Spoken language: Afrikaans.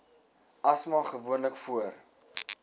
asma gewoonlik voor